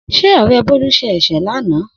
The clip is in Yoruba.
Se Ore Bolu se ese lana?